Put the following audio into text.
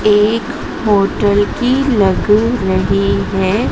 एक होटल की लग रही है।